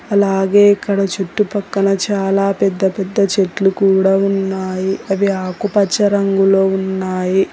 అలాగే ఇక్కడ చుట్టుపక్కల చాలా పెద్ద పెద్ద చెట్లు కూడా ఉన్నాయి అవి ఆకుపచ్చ రంగులో ఉన్నాయి.